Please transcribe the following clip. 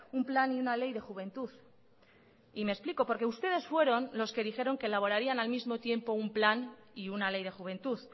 un plan y una ley de juventud y me explico porque ustedes fueron los que dijeron que elaborarían al mismo tiempo un plan y una ley de juventud